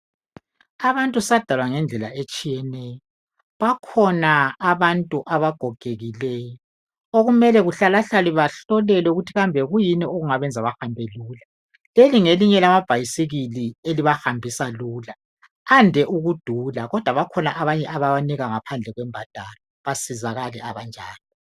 Abantu sadalwa ngendlela etshiyeneyo bakhona abantu abagogekileyo okumele bahlalahlale behlola ukuthi kambe kuyini okungabenza behambe lula. Leli ngelinye lamabhayisikili elibahambisa lula ade ukudula kodwa bakhona abanye abawanikwa ngaphandle kwembadalo basizakale abanjalo.